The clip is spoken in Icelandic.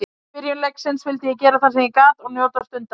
Í byrjun leiksins vildi ég gera það sem ég gat og njóta stundarinnar.